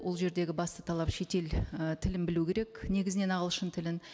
ол жердегі басты талап шетел і тілін білу керек негізінен ағылшын тілін